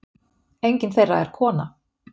Enginn þeirra er kona.